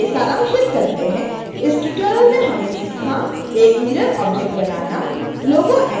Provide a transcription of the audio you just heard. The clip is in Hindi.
आइए सारांशित करते हैं इस ट्यूटोरियल में हमने सीखा एक मिरर ऑब्जेक्ट बनाना